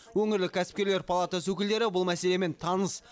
өңірлік кәсіпкерлер палатасы өкілдері бұл мәселемен таныс